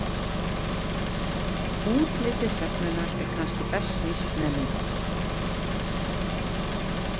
Útliti hrefnunnar er kannski best lýst með mynd.